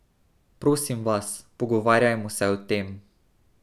Prosim vas, pogovarjajmo se o tem.